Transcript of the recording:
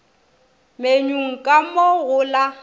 menyung ka mo go la